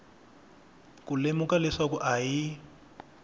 ku lemuka leswaku a hi